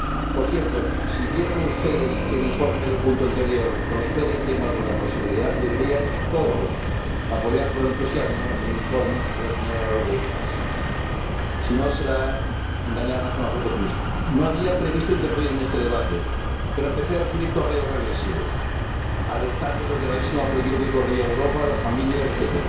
Por cierto, si quieren ustedes que el informe del punto anterior prospere y tenga alguna posibilidad deberían todos apoyar con entusiasmo el informe de la señora Rodrigues. Si no, será engañarnos a nosotros mismos. No había previsto intervenir en este debate, pero empecé a recibir correos agresivos, alertando del gravísimo peligro que corrían Europa, las familias, etc.,